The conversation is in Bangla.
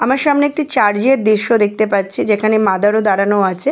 আমার সামনে একটা চার্চ -এর দৃশ্য দেখতে পাচ্ছি যেখানে মাদার -ও দাঁড়ানো আছে।